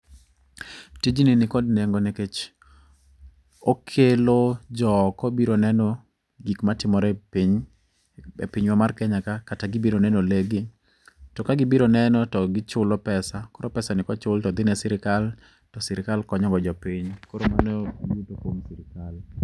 Tijni ni kod nengo nikech okelo jo oko biro neno gik matimore e piny, e pinywa mar Kenya. Kata gibiro neno le gi, to ka gibiro neno to giculo pesa. Koro pesa ni kochul to dhi ne sirikal, to sirikal konyogo jopiny. Koro mano e yuto kuom sirikal.